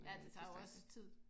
Ja det tager jo også tid